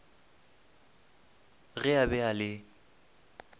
ge a be a le